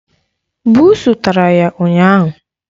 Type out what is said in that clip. Buusu tara ya ụnyaahụ.